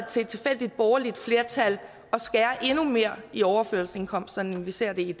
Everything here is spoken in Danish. til et tilfældigt borgerligt flertal at skære endnu mere i overførselsindkomsterne end vi ser det i